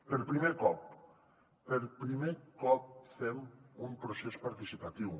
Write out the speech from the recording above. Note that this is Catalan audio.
per primer cop per primer cop fem un procés participatiu